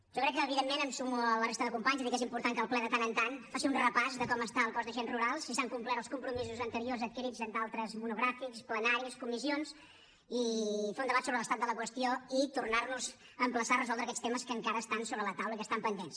jo crec que evidentment em sumo a la resta de companys a dir que és important que el ple de tant en tant faci un repàs de com està el cos d’agents rurals si s’han complert els compromisos anteriors adquirits en d’altres monogràfics plenaris comissions i fer un debat sobre l’estat de la qüestió i tornar nos a emplaçar a resoldre aquests temes que encara estan sobre la taula i que estan pendents